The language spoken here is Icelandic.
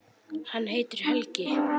Hann heitir Helgi.